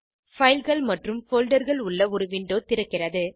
fileகள் மற்றும் folderகள் உள்ள ஒரு விண்டோ திறக்கிறது